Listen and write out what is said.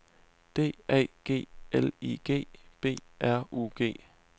D A G L I G B R U G